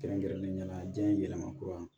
Kɛrɛnkɛrɛnnenya la diɲɛ yɛlɛma kura